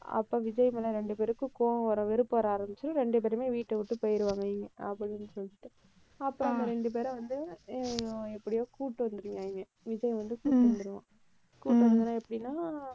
அப்ப விஜய் மேல ரெண்டு பேருக்கும் கோபம் வர, வெறுப்பு வர ஆரம்பிச்சு, ரெண்டு பேருமே வீட்டை விட்டு போயிருவாங்க அப்படின்னு சொல்லிட்டு. அப்புறம் அந்த ரெண்டு பேரும் வந்து ஹம் எப்படியோ கூட்டிட்டு வந்திருந்தாங்க. விஜய் வந்து கூட்டிட்டு வந்துடுவான். கூட்டிட்டு வந்துருவான் எப்படின்னா,